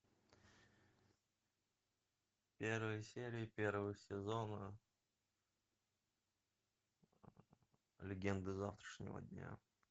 первая серия первого сезона легенды завтрашнего дня